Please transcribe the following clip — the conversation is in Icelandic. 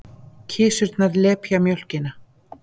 Kisurnar lepja mjólkina.